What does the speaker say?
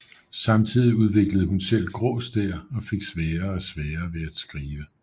Samtidig udviklede hun selv grå stær og fik sværere og sværere ved at skrive